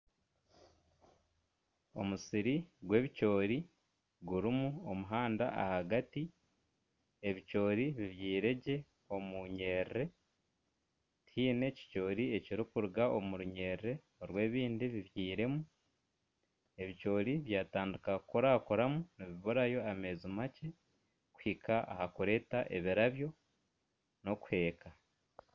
Omusiri gw'ebicoori gurimu omuhanda ahagati ebicoori bibyeire gye omunyiri tihaine ekicoori ekirukuruga omu runyiriri rw'ebindi bibyeirwemu ebicoori byatandika kukurakuramu nibiburayo ameezi makye kuhika ahakureeta ebirabyo n'okuheeka.